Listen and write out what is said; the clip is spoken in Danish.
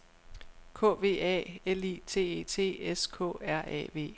K V A L I T E T S K R A V